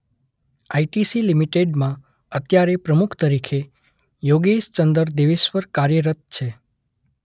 ITC લિમિટેડમાં અત્યારે પ્રમુખ તરીકે યોગેશ ચંદર દેવેશ્વર કાર્યરત છે.